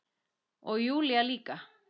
Og Júlía líka.